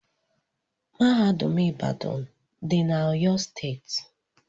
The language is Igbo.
Mahadum ibadan dị na oyo steeti.